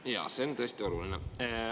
Jaa, see on tõesti oluline.